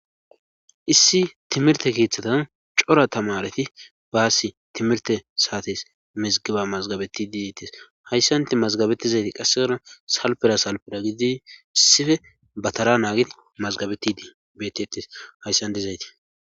Issi timirte keeththatan cora tamareti baassi timirte saatis mizgiba mazgabetti didettes hayssanti mazgabettizayti qassegarna salpera salpira gidi sife batara naagi mazgabetidii betetes hayssan dizayti